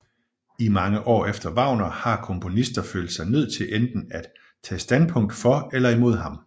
I mange år efter Wagner har komponister følt sig nødt til enten at tage standpunkt for eller imod ham